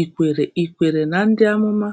i kwere i kwere na Ndị Amụma?”